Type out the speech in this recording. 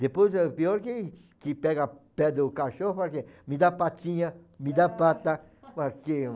Depois é pior que que pega o pé do cachorro e fala assim, me dá patinha, me dá pata.